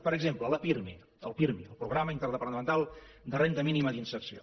per exemple el pirmi el programa interdepartamental de renda mínima d’inserció